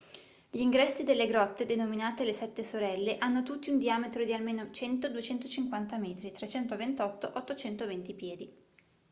gli ingressi delle grotte denominate le sette sorelle hanno tutti un diametro di almeno 100-250 metri 328-820 piedi